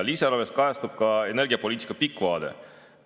Lisaeelarves kajastub ka energiapoliitika pikk vaade.